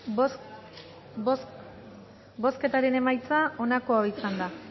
bozketaren emaitza onako izan da